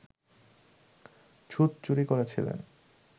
ছুঁচ চুরি করেছিলেন